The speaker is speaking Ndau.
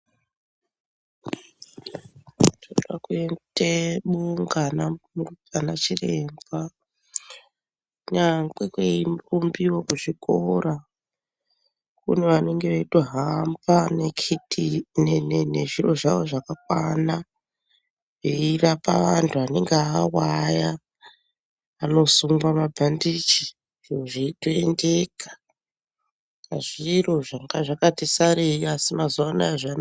Tinoda koite bunga ana chiremba kunyangwe kweirumbiwa kuzvikora kune vanenge veitohamba nekuti nezviro zvawo zvakakwana eirapa antu anenge awa aya anosungwa mabhandichi zviro zveitoendeka , zviro zvanga zvakati sarei asi mazuwanaya zvanaka.